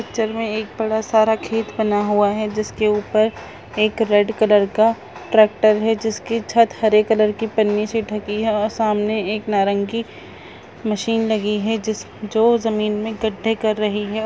picture में एक बड़ा सारा खेत बना हुआ है जिसके ऊपर एक रेड कलर का ट्रैक्टर है जिसकी छत हरे कलर के पन्नी से ढकी है और सामने एक नारंगी मशीन लगी है जिस जो जमीन में गड्ढे कर रही है और--